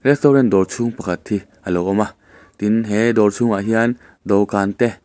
restaurant dawr chhung pakhat hi a lo awm a tin he dawr chhungah hian dawh kan te--